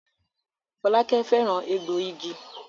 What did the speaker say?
Folake féràn egboigi.